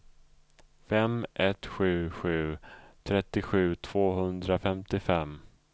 fem ett sju sju trettiosju tvåhundrafemtiofem